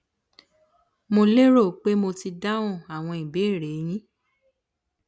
mo lérò pé mo ti dáhùn àwọn ìbéèrè e yín